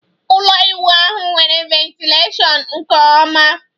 ụlọ ịwụ ahu nwere ventilashion nke oma